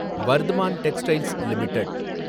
Vardhman textiles limited